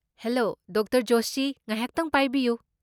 Hello, doctor Joshi. ꯉꯥꯏꯍꯥꯛꯇꯪ ꯄꯥꯏꯕꯤꯌꯨ꯫